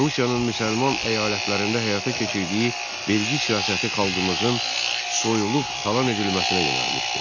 Rusiyanın müsəlman əyalətlərində həyata keçirdiyi vergi siyasəti xalqımızın soyulub talan edilməsinə yönəlmişdi.